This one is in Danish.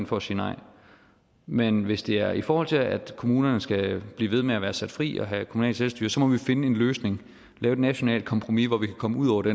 for at sige nej men hvis det er i forhold til at kommunerne skal blive ved med at være sat fri og have kommunalt selvstyre så må vi finde en løsning lave et nationalt kompromis hvor vi kan komme ud over det